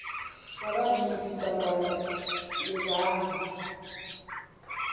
ngababini sibambana ngezandla